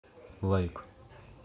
лайк